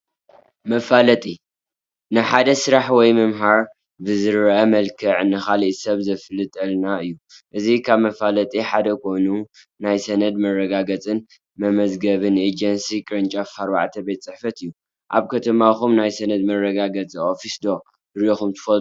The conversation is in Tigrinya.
መፋለጢ፡- ንሓደ ስራሕ ወይ ምህርቲ ብዝረአ መልክዕ ንኻሊእ ሰብ ዘፋልጠልና እዩ፡፡ እዚ ካብ መፋለጢ ሓደ ኮይኑ ናይ ሰነድ መረጋገፅን መመዝገብን ኤጀንሲ ቅርንጫፍ 4 ቤት ፅሕፈት እዩ፡፡ ኣብ ከተማኹም ናይ ሰነድ መረጋገፂ ኦፊስ ዶ ሪኢኹም ትፈልጡ?